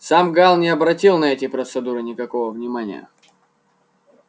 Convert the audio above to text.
сам гаал не обратил на эти процедуры никакого внимания